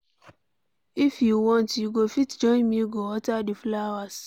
If you want you go fit join me go water the flowers.